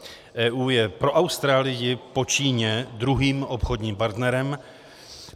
EU je pro Austrálii po Číně druhým obchodním partnerem.